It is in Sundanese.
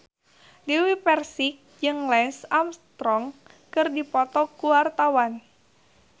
Dewi Persik jeung Lance Armstrong keur dipoto ku wartawan